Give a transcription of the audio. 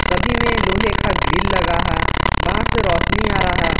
सभी में लोहे का ग्रिल लगा है बाहर से रोशनी आ रहा--